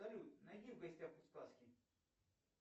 салют найди в гостях у сказки